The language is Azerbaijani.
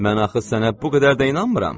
Mən axı sənə bu qədər də inanmıram.